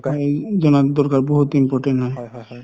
এহ জনাৰ দৰকাৰ বহুত important হয়